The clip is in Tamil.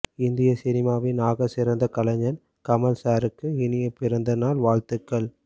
இந்திய சினிமாவின் ஆகச்சிறந்த கலைஞன் கமல் சாருக்கு இனிய பிறந்த நாள் வாழ்த்துகள்